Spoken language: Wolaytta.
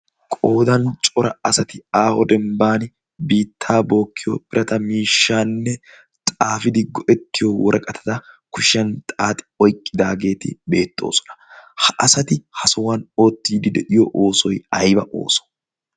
Qoodan cora asati aaho dembban biittaa bookkiyo birata miishshaa xaafidi go'ettiyoo woraqatata kushiyan xaaxi oyiqqidaageeti beettoosona. Ha asati ha sohuwan oottiiddi de'iyo oosoy ayiba oossoo?